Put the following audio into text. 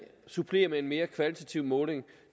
supplerer med en mere kvalitativ måling